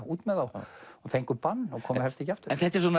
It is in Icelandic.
út með þá og fengu bann og komu helst ekki aftur